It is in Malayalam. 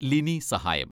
ലിനി സഹായം